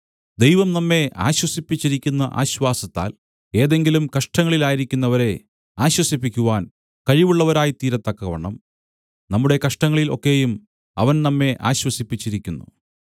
ദൈവം നമ്മെ ആശ്വസിപ്പിച്ചിരിക്കുന്ന ആശ്വാസത്താൽ ഏതെങ്കിലും കഷ്ടങ്ങളിലായിരിക്കുന്നവരെ ആശ്വസിപ്പിക്കുവാൻ കഴിവുള്ളവരായിത്തീരത്തക്കവണ്ണം നമ്മുടെ കഷ്ടങ്ങളിൽ ഒക്കെയും അവൻ നമ്മെ ആശ്വസിപ്പിച്ചിരിക്കുന്നു